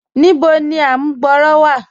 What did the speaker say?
Níbò ni àmùgbọ̀rọ̀ wa?